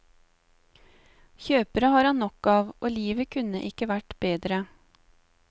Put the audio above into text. Kjøpere har han nok av, og livet kunne ikke vært bedre.